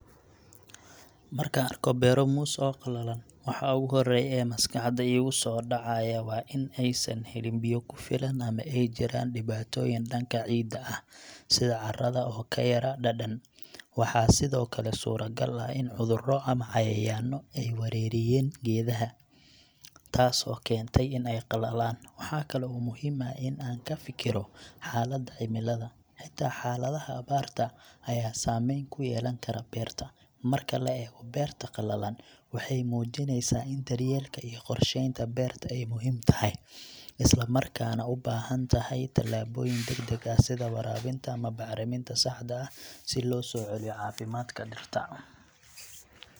Marka aan arko beero muus oo qallalan, waxa ugu horeeya ee maskaxda iiga soo dhacaya waa in aysan helin biyo ku filan ama ay jiraan dhibaatooyin dhanka ciidda ah, sida carrada oo ka yara dhadhan. Waxaa sidoo kale suuragal ah in cudurro ama cayayaanno ay weerareen geedaha, taasoo keentay in ay qallalaan. Waxa kale oo muhiim ah in aan ka fikiro xaaladda cimilada; xitaa xaaladaha abaarta ayaa saameyn ku yeelan kara beerta. Marka la eego, beerta qallalan waxay muujineysaa in daryeelka iyo qorsheynta beerta ay muhiim tahay, isla markaana u baahan tahay talaabooyin degdeg ah sida waraabinta ama bacriminta saxda ah si loo soo celiyo caafimaadka dhirta.